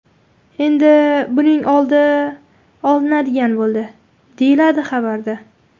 Endi buning oldi olinadigan bo‘ldi”, deyiladi xabarda.